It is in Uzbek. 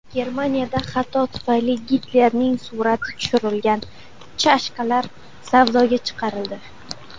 Germaniyada xato tufayli Gitlerning surati tushirilgan chashkalar savdoga chiqarildi.